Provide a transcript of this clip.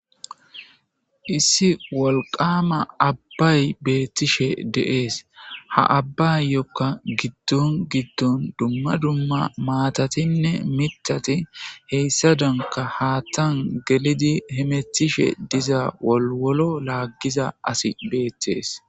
Issi wolqama abbay beettishe deees ha abbayyokka giddon giddon dumma dumma maatatinne mitati heyssa danka haattan gelidi hemethishe diza wolwolo laaggiza asi beethees.